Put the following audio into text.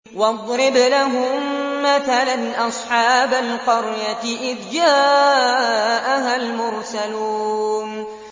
وَاضْرِبْ لَهُم مَّثَلًا أَصْحَابَ الْقَرْيَةِ إِذْ جَاءَهَا الْمُرْسَلُونَ